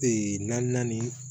Ee na naani